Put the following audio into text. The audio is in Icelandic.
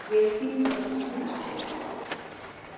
Ég týndi honum í síðustu viku.